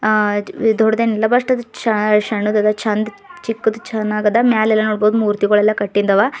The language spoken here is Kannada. ಹ ದೊಡ್ಡದೇನಿಲ್ಲ ಭಟ್ಟ ಅದು ಶ ಸಣ್ಣದ ದೈತೆ ಚಂದ ಚಿಕ್ಕು ದಾದಾ ಮಾಲೆಲ್ಲ ನೋಡಬಹುದು ಮೂರ್ತಿಗಳು ಕಟ್ಟಿಂದವ.